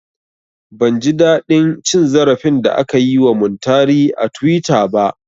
Ban ji daɗin cin zarafin da aka yi wa Muntari a tuwita ba